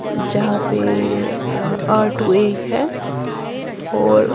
जहां पे अ अर टू एग है और --